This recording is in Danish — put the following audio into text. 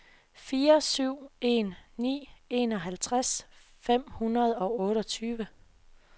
fire syv en ni enoghalvtreds fem hundrede og otteogtyve